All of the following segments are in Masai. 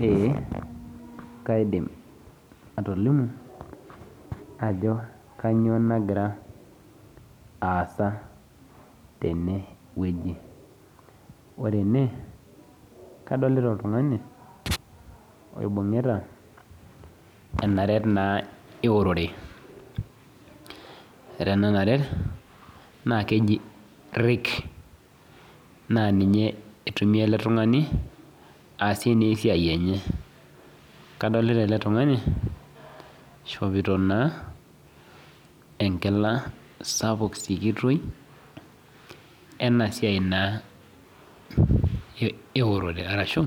Ee kaidim atolimu ajo kanyio nagira aasa tenewueji ore ene kadolta oltungani oibungita enaret eunore ore ena naret na keji rake na ninye itumia eletungani aasie esiai enye adolta ele tungani ishopito enkila sapuk tulelei enasia enturore arashu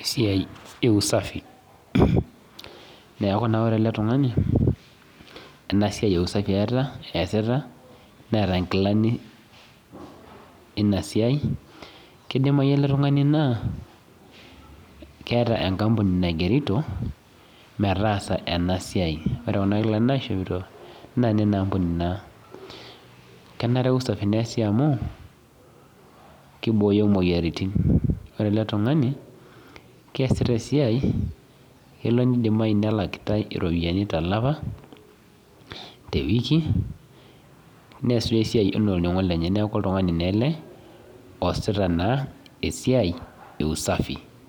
esiai eusafi neaku ore eletunganu enasiai eusafi easita neeta nkilani enasai kidimayu eletungani na keeta enkampuni naigerito metaasa enasia, kenare usafi neasi amu kibooyo moyiaritin ore eletungani keasita esiai kelo nidimayi nelakitae iropiyiani tolchamba tewiki neas esiai ana orningo lenye neaku oltungani ele oasita esiaia e usafi.